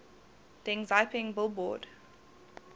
deng xiaoping billboard